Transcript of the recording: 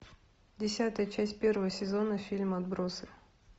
десятая часть первого сезона фильм отбросы